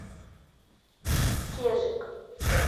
кежик